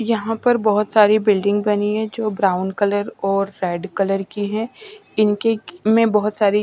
यहाँ पर बहुत सारी बिल्डिंग बनी हैं जो ब्राउन कलर और रेड कलर की है इनके के में बहुत सारी--